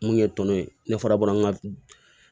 Mun ye tɔnɔ ye ne fana bɔra an ka